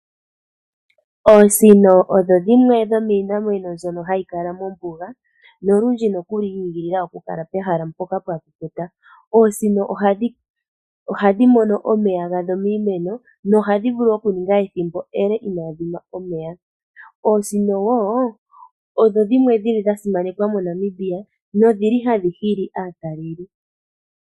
Oosino odho dhimwe dhomiinamwenyo mbyono hadhi kala mombuga nolundji nokuli yiigilila okukala pehala mpoka pwa kukuta. Oosino ohadhi mono omeya gadho miimeno nohadhi vulu okuninga ethimbo ele inaadhi nwa omeya. Oosino wo odho dhimwe dha simanekwa moNamibia nodhi li hadhi hili aataleli.